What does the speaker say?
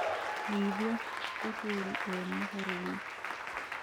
menyĩthĩa uhuru e mohoro ini